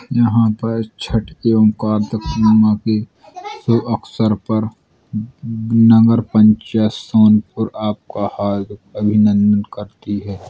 यहाँ पर छठ तक पूर्णिमा के शुभ अक्सर पर नगर पंचायत सोनपुर आपका हार्दिक अभिनंदन करती है।